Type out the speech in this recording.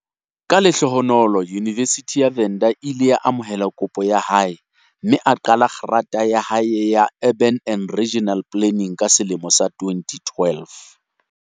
Ka lehlohonolo Yunivesithi ya Venda e ile ya amohela kopo ya hae mme a qala grata ya hae ya Urban and Regional Planning ka selemo sa 2012.